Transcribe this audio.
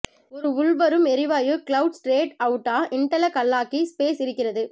ஒரு உள்வரும் எரிவாயு கிளவுட் ஸ்ட்ரேட் அவுட்டா இண்டெலகல்லாகிக் ஸ்பேஸ் இருக்கிறது